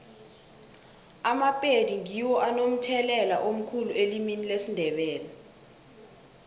amapedi ngiwo anomthelela omkhulu elimini lesindebele